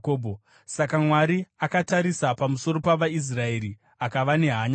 Saka Mwari akatarisa pamusoro pavaIsraeri akava nehanya navo.